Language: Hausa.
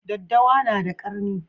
Daddawa na da ƙarni